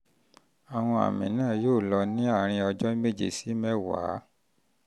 àwọn àmì náà yóò lọ ní àárín ọjọ́ méje sí mẹ́wàá